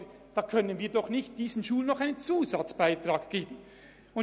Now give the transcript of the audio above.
In diesem Kontext können wir diesen Schulen doch nicht noch einen Zusatzbeitrag bezahlen!